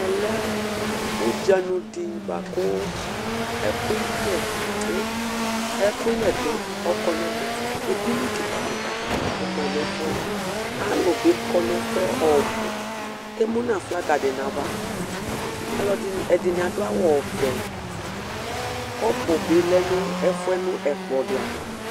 Ɛmɛlɛ ʊɗjanʊɗɩ ɓʊaƙʊ ɛƙʊƴɛ ɔƙɔ nʊ ɛmɛ eɗɩnɩ ƙɩƙaƙɩƙa ɔmanʊ ɛfʊɛ alʊɓɩƙɔnʊ ɛfʊɛ ɔɓʊ emʊnʊ aflaga nʊ aʋa alʊɛɗɩnɩ aɗʊ awʊ ɔʋɛ ƙɔpʊ lɛnʊ ɛƙplɔ aʋa